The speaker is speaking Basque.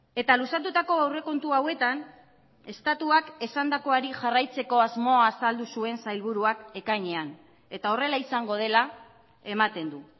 eta luzatutako aurrekontu hauetan estatuak esandakoari jarraitzeko asmoa azaldu zuen sailburuak ekainean eta horrela izango dela ematen du